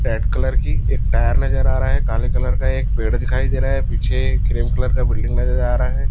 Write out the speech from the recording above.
Red colour की एक tyre नजर आ रहा हैं काले कलर का एक पेड़ दिखाई दे रहा है पीछे क्रीम कलर का बिल्डिंग नजर आ रहा हैं।